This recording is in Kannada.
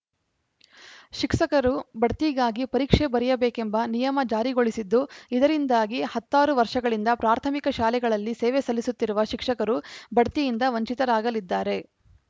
ಶಿಕ್ಷಕರು ಬಡ್ತಿಗಾಗಿ ಪರೀಕ್ಷೆ ಬರೆಯಬೇಕೆಂಬ ನಿಯಮ ಜಾರಿಗೊಳಿಸಿದ್ದು ಇದರಿಂದಾಗಿ ಹತ್ತಾರು ವರ್ಷಗಳಿಂದ ಪ್ರಾಥಮಿಕ ಶಾಲೆಗಳಲ್ಲಿ ಸೇವೆ ಸಲ್ಲಿಸುತ್ತಿರುವ ಶಿಕ್ಷಕರು ಬಡ್ತಿಯಿಂದ ವಂಚಿತರಾಗಲಿದ್ದಾರೆ